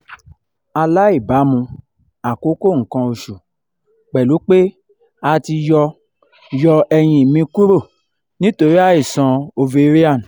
alaibamu-akoko nkan osu pelu pe a ti yo yo eyin me kuro nitori aisan ovarian